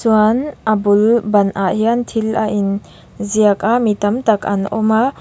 chuan a bul banah hian thil a in ziaka a mi tamtak an awma.